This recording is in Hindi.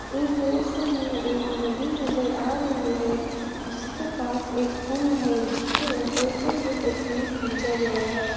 इस दृश्य में एक नदी नजर आ रही है जिसके पास एक पुल है जिसके ऊपर से ये तस्वीर खींचा गया है।